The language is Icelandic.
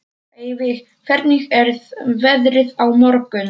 Eyveig, hvernig er veðrið á morgun?